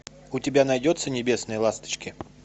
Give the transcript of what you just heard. у тебя найдется небесные ласточки